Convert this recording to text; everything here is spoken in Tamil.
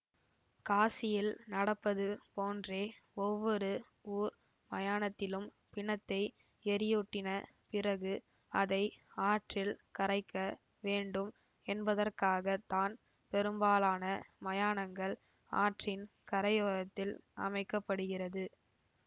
காசியில் நடப்பது போன்றே ஒவ்வொரு ஊர் மயானத்திலும் பிணத்தை எரியூட்டின பிறகு அதை ஆற்றில் கரைக்க வேண்டும் என்பதற்காக தான் பெரும்பாலான மயானங்கள் ஆற்றின் கரையோரத்தில் அமைக்க படுகிறது